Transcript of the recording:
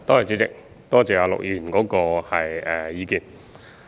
主席，多謝陸議員的意見。